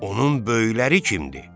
Onun böyükləri kimdi?